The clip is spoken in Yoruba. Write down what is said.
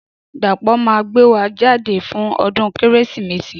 Dapo ma gbé wa jáde fún ọdún kérésìmesì